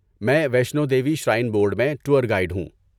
میں Vaishno Devi shrine board میں tour guide ہوں۔